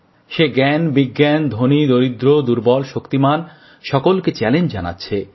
সে জ্ঞান বিজ্ঞান ধনী দরিদ্র দুর্বল শক্তিমান সকলকে চ্যালেঞ্জ জানাচ্ছে